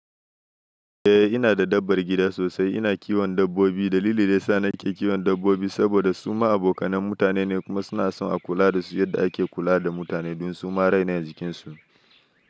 Eh ina da dabbar gida sosai. Ina kiwon dabbobi. Dalili da ya sa na ke kiwon dabbobi saboda su ma abokanan mutane ne kuma suna son a kula da su yadda ake kula da mutane don su ma raine jikinsu.